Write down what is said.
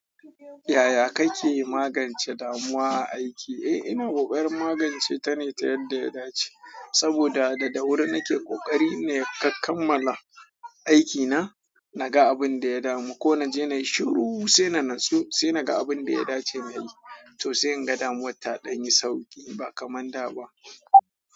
Yaya kake magance damuwa aiki? Eh, ina koƙarin magance ta ne ta yadda ya dace. Saboda da da wurin nake ƙokari ne, ka kammala aiki na, naga abin da ya damu, ko naje na yi shiru sai na natsu, sai naga abin da ya dace nayi. To sai in ga damuwa ta ɗan yi sauƙi ba kaman da ba.